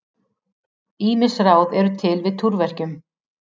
Ýmis ráð eru til við túrverkjum.